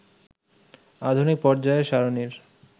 আধুনিক পর্যায় সারণীর